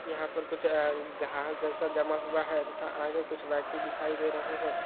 यहा पर कुछ घास जैसा जमा हुआ है तथा आगे कुछ व्यक्ति दिखाई दे रहे है।